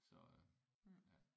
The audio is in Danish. Så ja